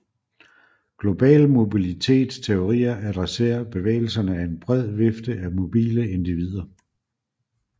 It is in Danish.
Global mobilitets teorier adresserer bevægelserne af en bred vifte mobile individer